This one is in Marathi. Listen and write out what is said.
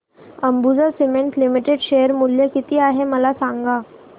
अंबुजा सीमेंट्स लिमिटेड शेअर मूल्य किती आहे मला सांगा